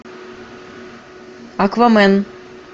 аквамен